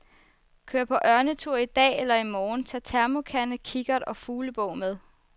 Kør på ørnetur i dag eller i morgen, tag termokande, kikkert og fuglebog med.